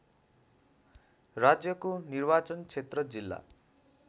राज्यको निर्वाचनक्षेत्र जिल्ला